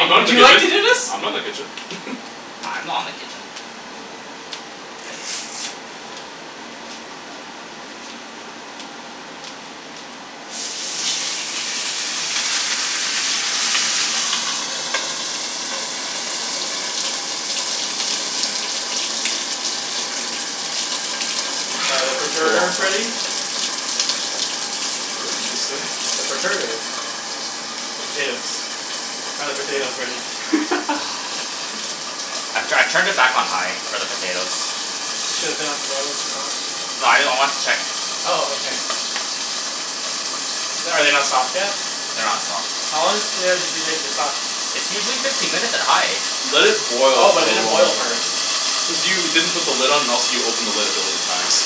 I'm not in would the you like to kitchen. do this? I'm not in the kitchen. I'm not in the kitchen. Are the It's a long perterters ready? time. What did you say? The perterters The potatoes. Are the potatoes ready? I'm tryin' I turned it back on high for the potatoes. It should've been on. Why wasn't it on? No I know I wanted to check. Oh okay. The- are they not soft yet? They're not soft. How long does a potato usually take to get soft? It's usually fifteen minutes at high. Let it Oh, boil for but it a didn't long boil time. first. Cuz you didn't put the lid on else you opened the lid a billion times.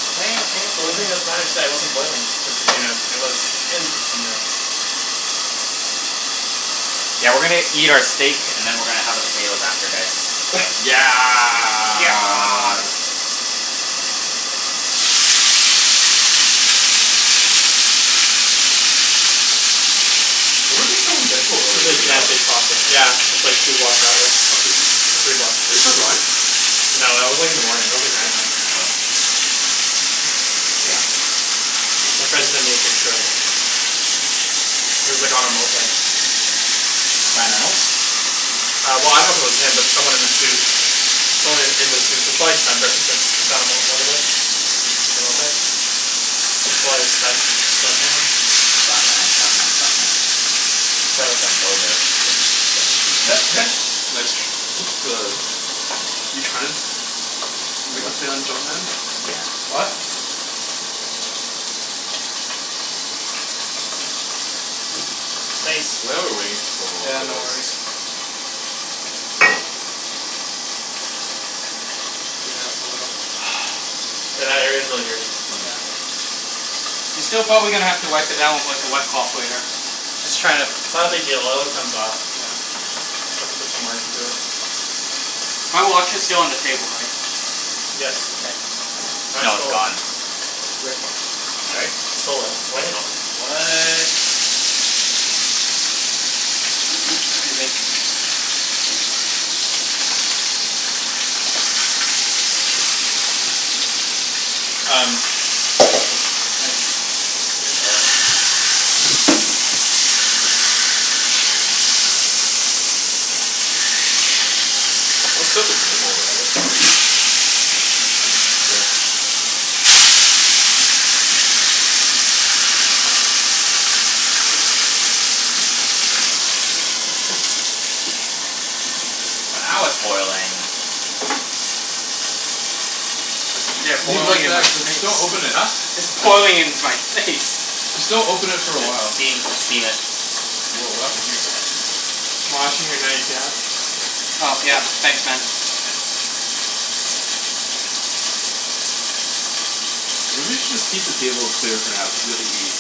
The lid thing doesn't matter it just wasn't boiling for fifteen minutes. It was in for fifteen minutes. Yeah, we're gonna eat our steak and then we're gonna have our potato after this. Yeah Yeah Where were they filming Deadpool earlier, do you know? Yeah, it's like two blocks that way, Oh seriously? or three blocks. Are they still going? No, that was like in the morning. That was like nine AM. Oh Damn. My Wanted friend sent me to a picture of it. He was like on a moped. Ryan Reynolds? Uh well I dunno if it was him but it was someone in a suit. Someone in in the suit, so it's probably stunt person since it's on on motorbike. Mhm. A moped. Probably a stunt stunt man. Stunt man stunt man stunt man. No Just it's jumped over it's Nice tr- what the? You tryin' to Make a play on jump man? Yeah. What? Thanks. Why are we waiting for so long Yeah, for no this? worries. Yeah, a little. Yeah that area's really dirty. Yeah. You're still gonna probably have to wipe it down with like a wet cloth later. Just tryin' to It's not a big deal, oil it comes off. Yeah. Just have to put some work into it. My watch is still on the table, right? Yes. K. No, it's gone. Yep. Right? I stole it He sto- what? 'scuse me. Um Um, it's Nice. Let's set up the game while we're at it. Sure. Oh now it's boiling. Yeah, Leave it boiling like in my that j- face. just don't open it. Huh? It's boiling in my face. Just don't open it for a The while. steam steam it Whoa, what happened here? Washing your knife, yeah? Oh yeah, thanks man. Uh maybe we should just keep the table clear for now cuz we have to eat.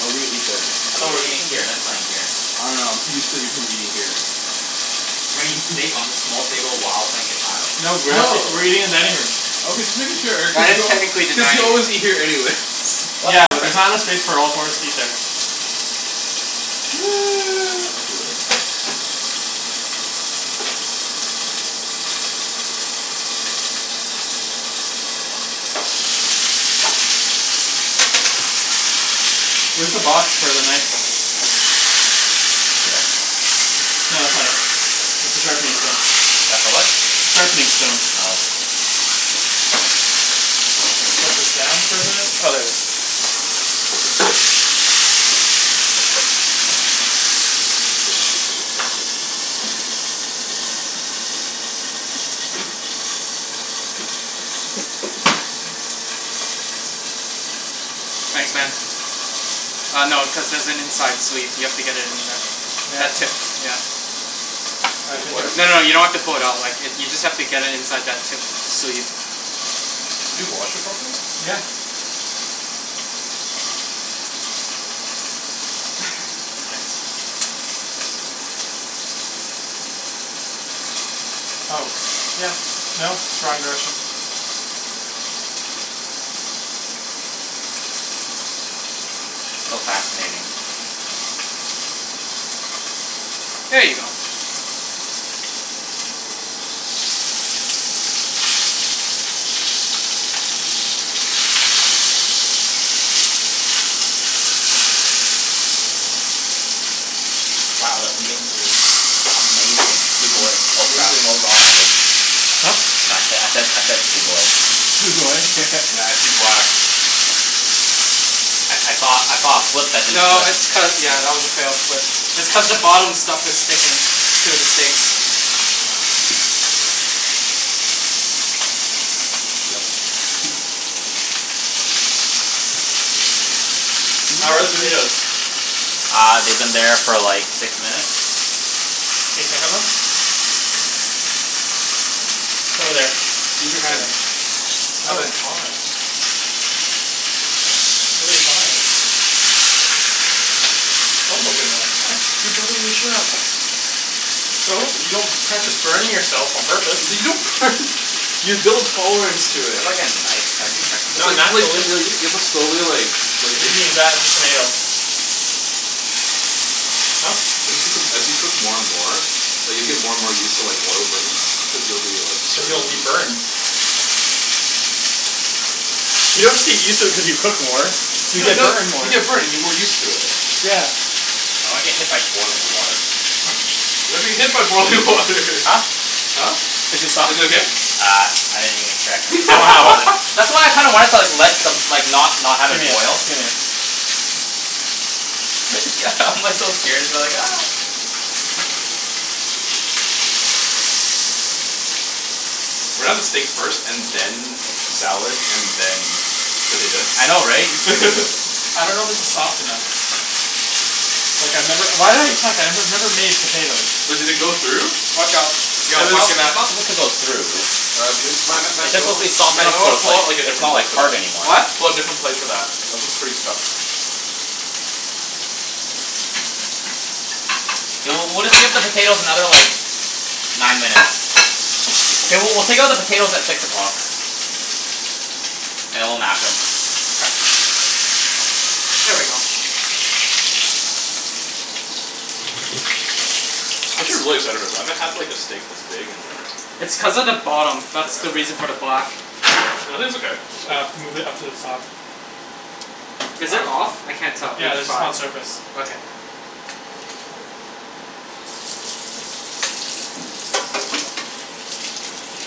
Oh we're gonna eat there. I thought we're eating here and then playing here. I dunno I'm too used to Ibrahim eating here. We're gonna eat steak on this small table while playing Catan? No, we're actually No we're eating in dining room. Okay just making sure, Well cuz it's you al- technically the cuz you dining room. always eat here anyways What's Yeah, but there's different? not enough space for all four of us to eat there. Okay whatever. Where's the box for the knife? Over there? No that's not it, that's the sharpening stone. That's the what? Sharpening stone. Oh. Put this down for a bit. Oh there it is. Thanks, man. Uh no, cuz there's an inside sleeve, you have to get it in there. Yeah, it's That not tip, yeah. I There think was? it's No no, you don't have to fold it out. Like if you just have to get it inside that tip sleeve. Did you wash it properly? Yeah. Oh yeah no it's wrong direction. So fascinating. There you go. Wow that's amazing. Amazing. Sugoi. It's Oh crap, amazing. oh wrong language. Huh? No I said I said I said sugoi. Sugoi? Matt, I see black. I I thought I thought it flipped but it didn't No flip. it's cu- yeah that was a fail but it's cuz the bottom stuff is sticking to the steak. Yeah. Did we How are the let that finish? potatoes? Uh they've been there for like six minutes. Can you check 'em then? It's over there. Use Over your hand. there. No, it's Hand. hot. It's really hot. Don't look at me like that. You're driving with a chef. So? You don't practice burning yourself on purpose. L- you don't burn you build tolerance to Do you it. have like a knife so I can check on N- It's not like this? you like naturally. you have to slowly like like You can use that, just tomato. Huh? As you cook 'em as you cook more and more like you'll get more and more used to like oil burns cuz you'll be like Cuz you'll be burned. You don't get used to it cuz you cook more. You No you get no burned more. you get burned you get more used to it. Yeah. I don't wanna get hit by boiling water. You're not gonna get hit by boiling water Huh? Huh? Is it soft? Is it okay? Uh I didn't even check cuz it's like Wow. boiling. That's why I kinda wanted to like let the like not not have it Gimme it, boil. gimme it. It's g- I'm like so scared. I'm like We're gonna have the steak first and then salad and then I know, right? potatoes. I dunno if this is soft enough. Like I've never- why did I check? I've never made potatoes. But did they go through? Watch out. Yo, watch It's- your it's back. not supposed to go through. Uh m- Matt- Matt- It's Matt- you just know supposed to be what? soft Matt you enough know so what? it's Pull like out like a it's different not like plate for hard that. anymore. What? Pull out a different plate for that. That one's pretty stuffed. We'll- we'll take out the potatoes another like nine minutes. Mkay, w- we'll take out the potatoes at six o'clock. And then we'll mash 'em. Here we go. I should really settle with that, I haven't had like a steak this big in like- It's cuz of the bottom. That's the reason Forever. for the black. No, I think it's okay. Uh, move it up to the top. Is it off? I can't tell. Yeah, It's this is five. hot surface. Okay.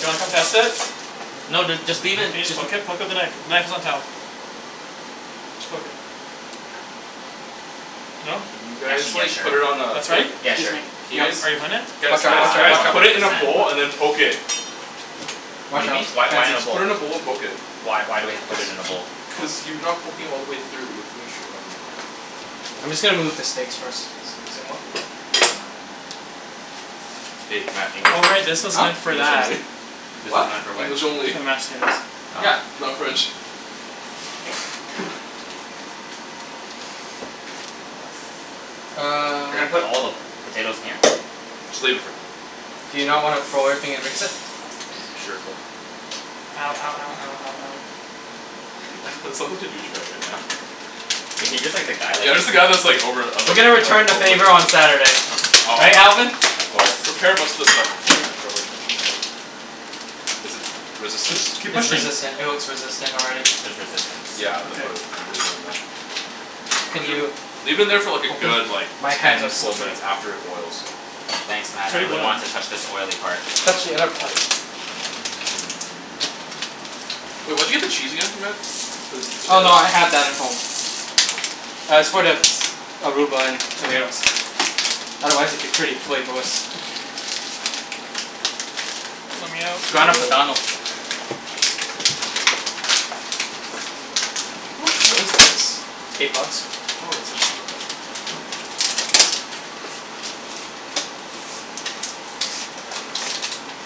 Do you wanna come test it? No dude, just leave it. Can you just poke it? Poke with a knife. The knife is on the shelf Just poke it. No? Actually yeah, sure. put it on a- That's right? Yeah, sure. Are you are you hunnid? Guys, Watch Uh, out, guys, watch, out I'm guys. watch not out. one Put hundred it in a percent bowl and then poke it. What do you mean? Why- why in this Just bowl? put it in a bowl and poke it. Why- why we have to put it in a bowl? Cuz you are not poking all the way through. I'm just gonna move the steaks first. excusez-moi. Hey Matt, English Oh only. right, this was Huh? meant for English that. only. This What? is not for which? English only. For the mashed potatoes. Yeah. Oh. Not French. Uh. You're gonna put all the potatoes in here? Just leave it Do you not wanna throw everything and mix it? Sure go Ow, ow, ow, ow, ow, ow. I sound like a douche bag right now. Yeah. He's just the guy, like Yeah. I'm he's just the guy all- that's like over- I'm We're like- gonna I'm return like the overlooking. favor on Saturday. Right, Oh, Alvin? of course. prepare most of the stuff beforehand, don't worry too much about it. Is it resistance? Keep It's pushing. resistant. It looks resistant already. There's resistance. Yeah, I'm gonna Okay. put it, then leave it in there. Can you Leave it in there for like a open? good, like, My hands are ten full slippery. minutes after it boils. Thanks It's Matt, I already really boiling. want to touch this oily part. Touch the other part. Wait, where did you get the cheese again Matt? For the Oh potatoes? no, I had that at home. Uh, it's for the arugula and tomatoes. Otherwise it'd be pretty flavorless. Lemme out, Grana lemme Padano. out. How much is this? Eight bucks. Oh, that's actually not that bad.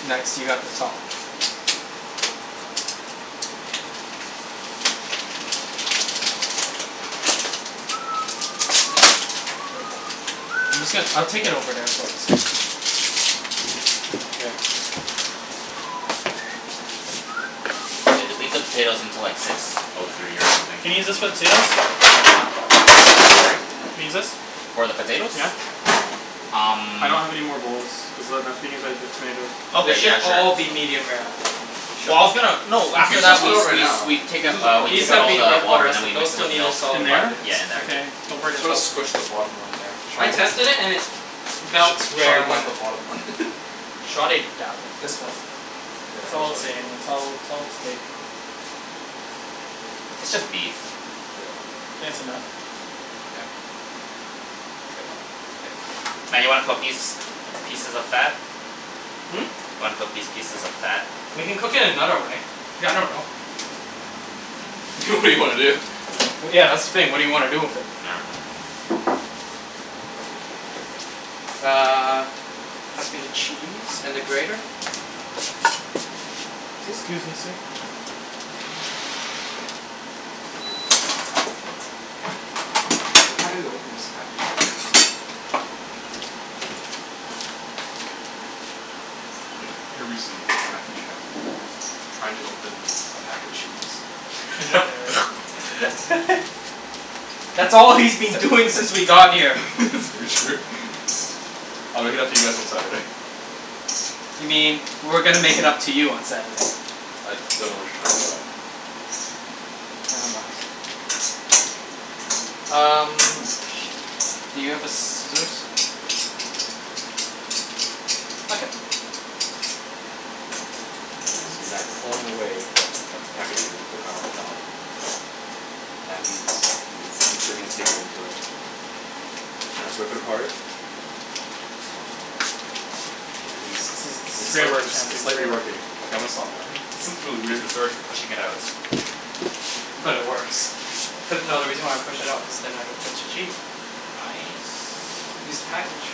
Nice, you got the top. Here you go. I'm just gon- I'll take it over there so it's not- Mkay. Yeah. Just leave the potatoes until like six or nine minutes Can I use this for the potatoes? Can I use this? For the potatoes? Yeah. Um. I don't have any more bowls, cuz that- that's being used by the tomatoes. They Okay, should yeah sure. all be medium rare. Well I was gonna... No, You after could that do we- it right we- now. we take out- we These take out have all been in the the water water. and then we Those mix it still with need a milk. Yeah In solid five there? minutes. in there. Okay, don't You burn need to yourself. squish the bottom one there. I tested it and it felt rare Sorry when about I- the bottom one. Shove it down. This one. It's all the same. Yeah It's all- it's all steak. It's just beef. Yeah. Think that's enough? Yeah. Yep. It's Okay. Matt, you wanna cook these pieces of fat? Hmm? Want to cook these pieces of fat? We can cook it another way. I dunno. It's okay. good idea. Well yeah that's the thing. What do you wanna do with it? Uh. Pass me the cheese and the grater. Just, scusi, sir How do you open this package? Here we see Matthew Chan, trying to open a pack of cheese. Can you not narrate? That's all he's been doing since we got here. That's very true. I'll make it up to you guys on Saturday. You mean we're gonna make it up to you on Saturday. I dunno what you're talking about. Nevermind. Um, where is the thing? Do you have the scissors? I got it. You see Matt clawing away at the packaging of the Grana Padano. Now he's- he's entering his steak knife into it. He trying to rip it apart. And he's This is- this is it's great slight- work Chan, it's it's slightly great work. working. Okay, I'm gonna stop now, this is really He's weird. sort to pushing it out. But it works. Cuz- no, the reason why I pushed it out cuz then I don't touch the cheese. Nice. Just the package.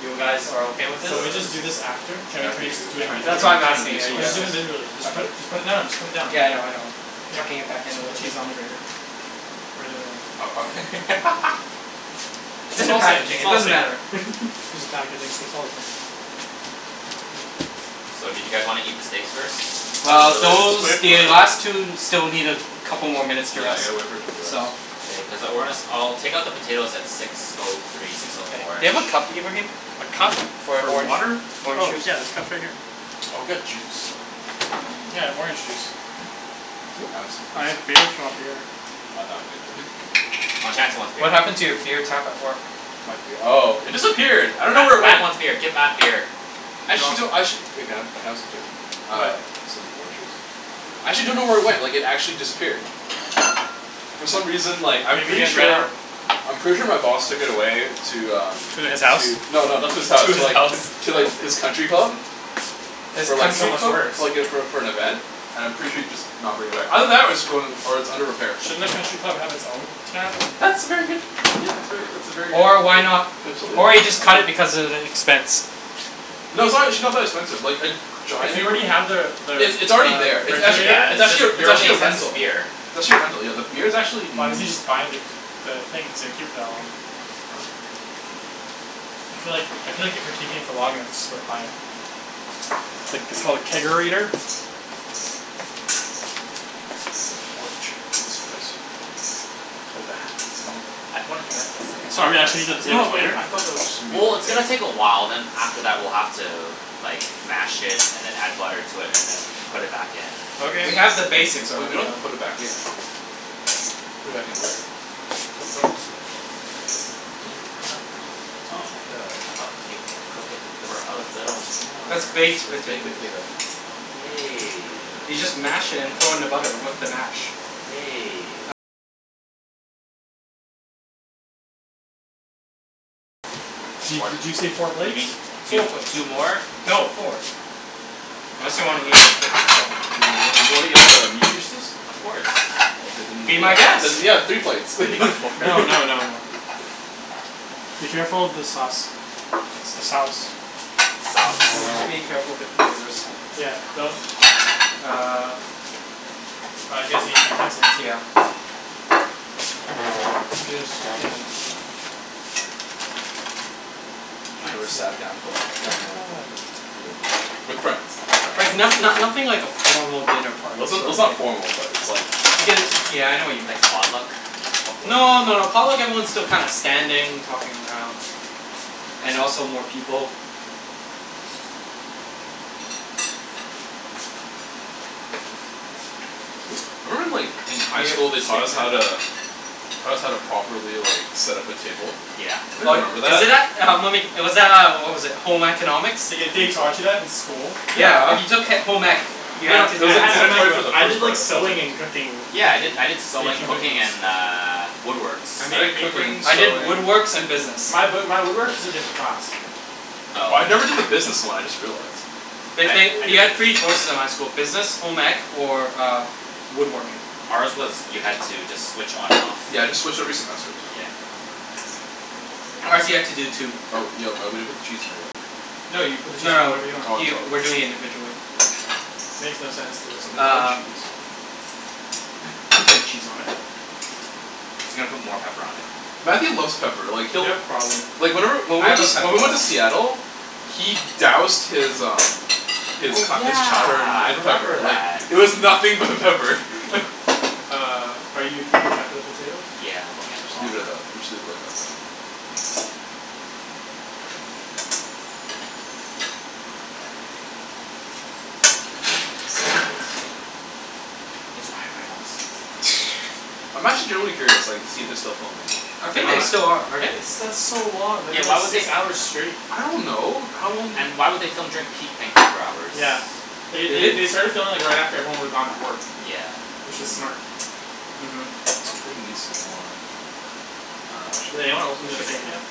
You guys are okay with It's, this? So uh, we this just do this is after? Can we- can we just Matthew do it tryin'- That's individually? why I'm tryin' to be asking, a are you smart Let's guys just ass. do o- it individually. Just put- just put it now, just put it down. okay?.Yeah I know I know. Tucking it back you in a should put little bit. cheese on the grater. Is the other way around, uh-oh. cool. It's It's in the all the same, packaging, it's it all the doesn't same. matter. It's just packaging, so it's all the same. So, do you guys wanna eat the steaks first? Not Well really, those- wait for the it to rest. last two still need a couple more minutes to Yeah I rest, gotta wait for it to rest. so- K, Cuz I- we're gonna- I'll take out the potatoes at six O three, six O four. Do you have a cup, Ibrahim? A cup For for orange water? orange Oh juice. yeah there's cups right here. Oh, got juice? Yeah, I have orange juice. Can I have some? I have beer if you want beer. Oh, Chancey wants beer. What happened to your beer tap at work? My bee- Oh it disappeared I dunno Matt- where it Matt went. wants beer. Get Matt beer. Actually I do- Actually- Can I have- can I What? have some too? Actually dunno where it went, like it actually disappeared. For some reason, like, I'm Maybe you pretty guys ran out. sure- I'm pretty sure my boss took it away to, um. To his house? No, no, not to his house. To the Alps To like His his country country club? club. I was That's like for- so much worse. like for like - for- for an event. And I'm pretty sure he'd just not bring it back. Either that or it's going- or it's under repair. Shouldn't a country club have its own tap? That's a very good- , that's very that's a very good Or idea, why kind of not- potential, yeah. or he just cut it Thank you. because of the expense. No, it's actually not that expensive. Like a If giant- you already have the- the- it's already the there. It's actually- Yeah refrigerator. it's it's just actually a- it's your really actually a expensive rental. beer. It's actually a rental, yeah. The beer's actuall Why doesn't n- he just buy the- the thing if he's gonna keep it for that long? I'm like- - I feel like- I feel like if you're keeping it for long enough it's just worth buying it. Like it's called a Kegerator? chair for this place. I pointed that out to the second Sorry, I should eat the I- No potatoes no, later? I thought that was... Well it's gonna take a while, then after that we're gonna have to, like, mash it then add butter and then put it back in. Okay. We have the basics We already. don't have to put it back in. Put it back in there. You don't have to do that. I thought you cook it for a little more. That's baked Baked potatoes. potato. Okay. You just mash it and throw in the butter with the mash. Di- did you say four Or y- you plates? mean two Four plates. two more? No, four. Ya, wan- wan- you wanna eat all the meat juices? Of course. Be my guest. Then I'm kidding. yeah, three plates. We already got four. No, no, no, no. Be careful with the sauce. The sauce. Sauce. I'm being careful of the computers. Yeah, don't. Uh- Uh, you guys need the utensils Yeah. too. I'm just, you know. I never Nice. sat down to like formal home cooked meal before with friends with friends. Like not no- nothing like a formal dinner Well party it's sort n- of it's not thing. formal but it's like- Like a- yeah I know what you mean. Like potluck? Potluck? No, no, a potluck everyone's still kinda standing, talking around. And also more people. Thank you. I remember in like in high school they Taught taught us us how how to- to- Taught us how to properly, like, set up a table. Yeah. Oh, Anybody remember is that? it that- uh uh, was that, uh, what was it, Home Economics? The- the- they taught you that in school? Yeah, Yeah if you took he- home ec, you No, I- no, had to it do was, I like, that had home ec mandatory for stuff. but the I did first part like I sewing think. and cooking Yeah. I did- cookies, I did sewing, baking cooking, cookies. and uh, woodworks. I made an I did apron. cooking, I did sewing. woodworks and business. My b- my woodwork is a different class. I Oh. never did the business one, I just realized. I They- I did they- you had the three business. choices at my school. Business, home ec, or woodworking. Ours was you had to just switch on and off. Yeah, I just switch every semester. Yeah. Ours, you had to do two. Oh, yo, uh, we didn't put the cheese in there yet. No, you put the cheese No, no, whenever you want. he Oh we're doing it I'm sorry. individually. Makes no sense Can to- somebody get the Uh. cheese? I'm putting cheese on it. He's gonna put more pepper on it. Matthew loves pepper. Like You he'll- have problem. Like whenever- when I we went have a to- pepper when we went to problem. Seattle- He doused his, um His Oh co- his chowder yeah, I in remember pepper, like, that. it was nothing but pepper. Uh, are you keeping track of the potatoes? Yeah, I'm looking at the Okay. clock. Leave it at that. Let's just leave it like that for now. It's Ryan Reynolds. I'm actually genuinely curious, like, to see if they're still filming. I They're think they not. still are. Are they? It's- that's so long that'd Yeah, be like why would they six f- hours straight. I don't know. How long do- And why would they film during peak Vancouver hours? Yeah. They- Did they- they? they started filming right after, like, everyone would've gone to work. Yeah. Which is smart. uh-huh I'm gonna need some more- I dunno, actually Did anyone open It the should be steak enough. yet?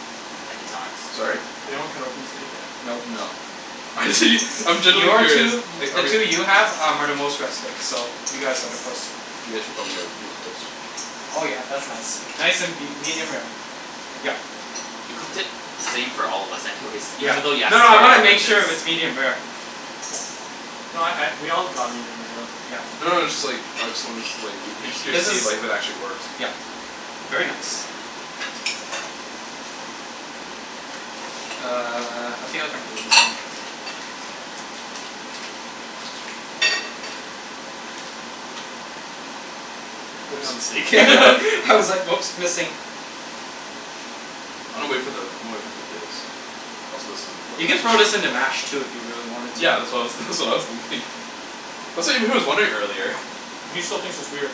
I did not. Sorry? Did anyone cut open the steak yet? Nope. No. Actually I'm genuinely Your curious two, i- Like the are we- two you have are the most rested, so you guys are the first. You guys should probably, like, do it first. Oh yeah, that's nice. Nice and be- medium rare. Yep. You cooked it the same for all of us anyways. Yeah. Even thought you asked No, us no for I our wanna make preferences. sure if it's medium rare. No I- I we all got medium rare though. Yeah. No, no it's just, like, I just wanna, like, I was just curious His to see if is- like if it actually works. yep very nice. Uh, I feel like I'm doing this wrong. You putting it on the steak? I was like oops, missing. I'ma wait for the- I'ma wait for the potatoes. I'm solicited in You the could throw toilet. this in the mash too if you really wanted to. Yeah. That's what I was that's what I was thinking. That's what Ibrahim was wondering earlier. He still thinks it's weird.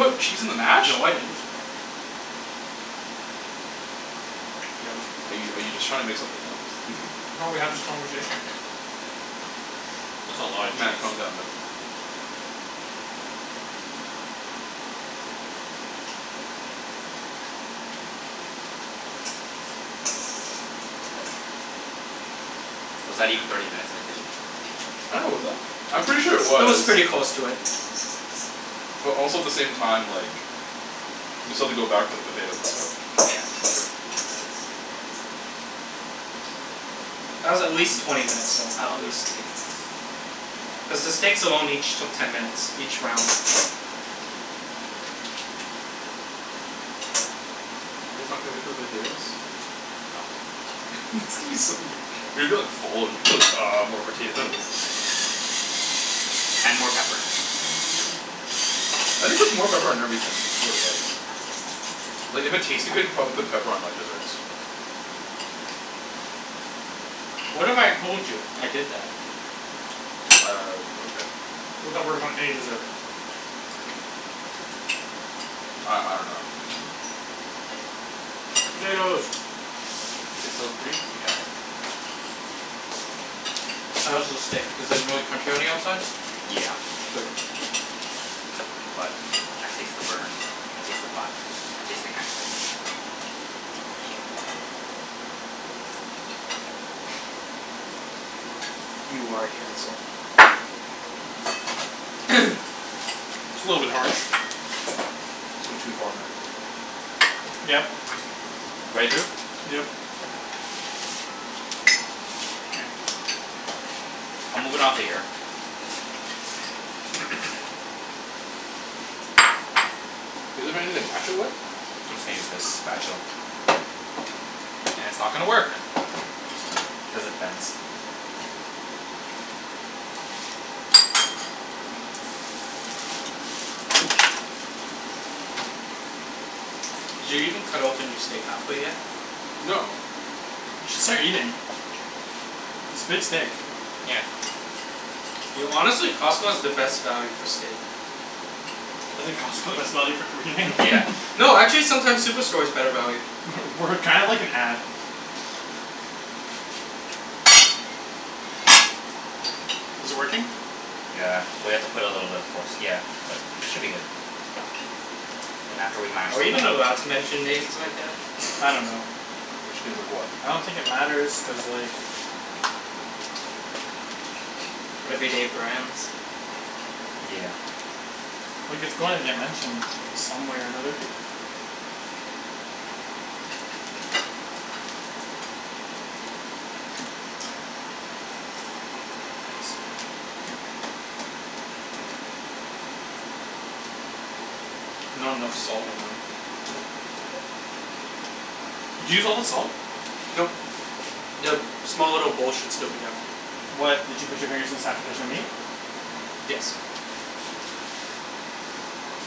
To put cheese in the mash? No, I didn't. He does. Are you are you just trying to make something up? No, we had this conversation. That's a lotta Matt, cheese. calm down buddy. Was that even thirty minutes in the kitchen? I dunno was it? I'm pretty sure it It was was. pretty close to it. But also the same time like We still have to go back for the potatoes and stuff. Yeah. That's true. That was at least twenty minutes long, at least. Cuz the steaks alone each took ten minutes, each round. You guys can't wait for the potatoes? It's gonna be so weir- you're gonna be like full and be like "Ah more potatoes." And more pepper. Matt just puts more pepper on everything, I swear to God. Like if it tasted good, he'd probably put pepper on like desserts. What if I told you I did that? Uh, okay. How that works on any dessert? I- I dunno Potatoes. Six O three? Yeah, okay. How is the steak? Is it really crunchy on the outside? Yeah. Good. But I taste the burn. I taste the black. I taste the cancer. You are a cancer. It's a little bit harsh. It's going too far man. Yep. Right through? Yep. Mkay. I'll move it onto here. Want anything to mash it with? I'm just gonna use this spatula. And it's not gonna work cuz it bends. Did you even cut open your steak half way yet? No. We should start eating. It's a big steak. Yeah. Yo, honestly, Costco is the best value for steak. Isn't Costco the best value for everything? Yeah. No, actually sometimes Superstore is better value. We're kind of like an ad. Is it working? Yeah. Well, you have to put a little bit of force, yeah. But, should be good. Then after we mash Are we them even allowed all. to mention names like that? I don't know. Mention names like what? I don't think it matters cuz like. Everyday brands? Yeah. Like it's going to get mentioned some way or another. Not enough salt. Did you use all the salt? Nope. The small little bowl should still be there. What? Did you put your fingers inside but there is no meat? Yes.